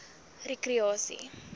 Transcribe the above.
rekreasie